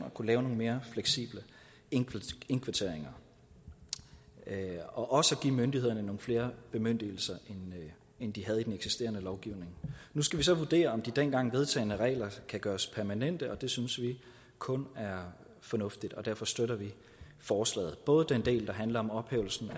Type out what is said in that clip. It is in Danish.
at kunne lave nogle mere fleksible indkvarteringer og også at give myndighederne nogle flere bemyndigelser end de havde i den eksisterende lovgivning nu skal vi så vurdere om de dengang vedtagne regler kan gøres permanente og det synes vi kun er fornuftigt derfor støtter vi forslaget både den del der handler om ophævelsen